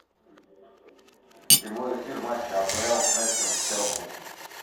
прямой эфир матча апл вест хэм с челси